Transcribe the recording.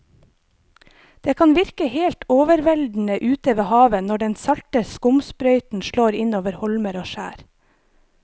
Det kan virke helt overveldende ute ved havet når den salte skumsprøyten slår innover holmer og skjær.